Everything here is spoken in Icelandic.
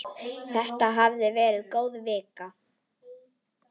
Þetta hafði verið góð vika.